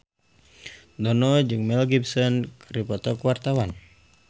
Dono jeung Mel Gibson keur dipoto ku wartawan